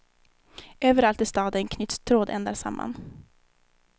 Överallt i staden knyts trådändar samman.